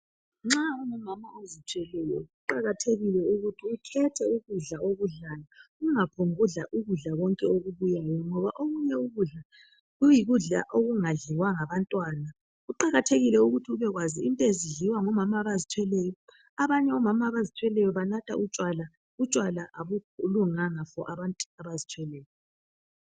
Nxa ungumama ozithweleyo kuqakathekile ukuthi ukhethe ukudla okudlayo, ungaphombu kudla ukudla konke okubuyayo ngoba okunye ukudla kuyikudla okungadliwa ngabantwana. Kuqakathekile ukuba kwazi into ezidliwa ngumama abazithweleyo abanye omama abazithweleyo banatha utshwala. Utshwala abulunganga ebantwini abazithweleyo.